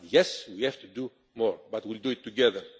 done. But yes, we have to do more, but we will do it together.